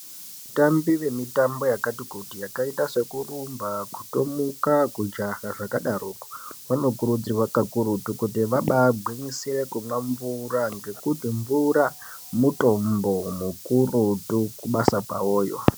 Vatambi vemitambo yakati kuti yakaita sekurumba, kutomuka kujaha zvakadaroko vanokurudzirwa kakurutu kuti vabaagwinyisire kumwa mvura ngekuti mvura mutombo mukurutu kubasa kwawoyo.